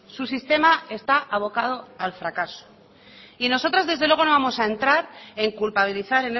su sistema está abocado al fracaso y nosotros desde luego no vamos a entrar en culpabilizar